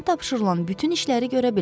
Ona tapşırılan bütün işləri görə bilər.